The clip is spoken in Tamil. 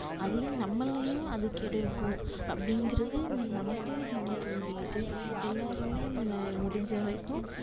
அதையும் நம்மல்லையும் அது கெடுக்கும் அப்டின்றது நமக்கு நம்ம புரிஞ்சுக்கிட்டு எல்லாருமே முடிஞ்சவரைக்கும்